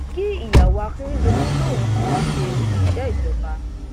kí ìyàwó akérèdọlú lòun kì í ṣe òṣìṣẹ ìjọba